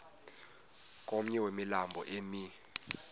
komnye wemilambo emi